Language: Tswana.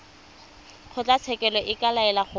kgotlatshekelo e ka laela gore